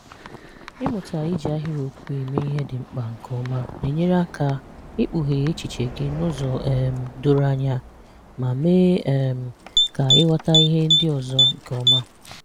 Ịmụta iji ahịrịokwu eme ihe dị mkpa nke ọma na-enyere aka ekpughe echiche gị n’ụzọ um doro anya ma mee um ka ị ghọta ihe ndị ọzọ nke ọma.